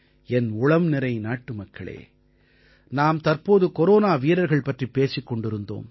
என் உளம்நிறை நாட்டுமக்களே நாம் தற்போது கொரோனா வீரர்கள் பற்றிப் பேசிக் கொண்டிருந்தோம்